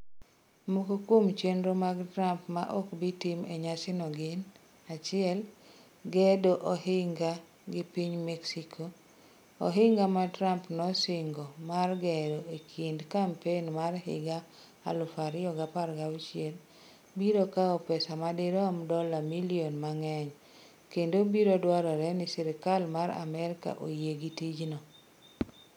Moko kuom chenro mag Trump ma ok bi tim e nyasino gin: 1. Gedo ohinga gi piny Mexico: Ohinga ma Trump nosingo mar gero e kinde kampen mar higa 2016, biro kawo pesa ma dirom dola milion mang'eny, kendo biro dwarore ni sirkal mar Amerka oyie gi tijno.